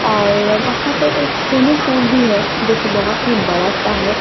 और वहां पे एक स्विमिंग पूल भी है जोकि बहोत ही बड़ा सा है।